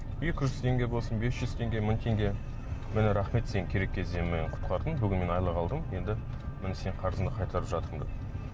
екі жүз теңге болсын без жүз теңге мың теңге міне рахмет сен керек кезде мені құтқардың бүгін мен айлық алдым енді міне сенің қарызыңды қайтарып жатырмын деп